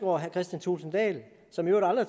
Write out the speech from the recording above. og herre kristian thulesen dahl som i øvrigt aldrig